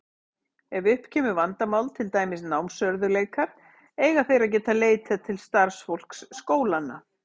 Ef upp kemur vandamál, til dæmis námsörðugleikar, eiga þeir að geta leitað til starfsfólks skólanna.